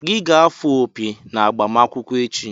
Gị ga-afụ opi na agbamakwụkwọ echi!